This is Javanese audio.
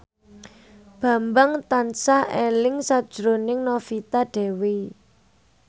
Bambang tansah eling sakjroning Novita Dewi